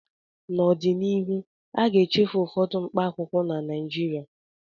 N'ọdịnihu, a ga-echefu ụfọdụ mkpaakwụkwọ na Naịjirịa